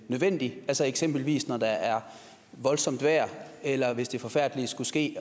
nødvendig altså eksempelvis når der er voldsomt vejr eller hvis det forfærdelige skulle ske